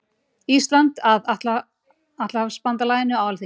Íslands að Atlantshafsbandalaginu á Alþingi.